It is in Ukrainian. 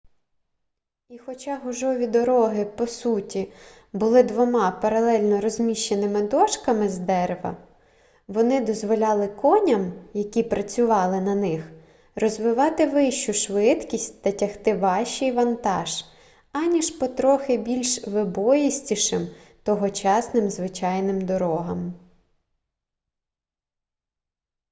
і хоча гужові дороги по суті були двома паралельно розміщеними дошками з дерева вони дозволяли коням які працювали на них розвивати вищу швидкість та тягти важчий вантаж аніж по трохи більш вибоїстішим тогочасним звичайним дорогам